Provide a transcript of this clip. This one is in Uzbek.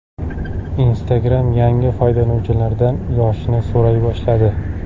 Instagram yangi foydalanuvchilardan yoshini so‘ray boshladi.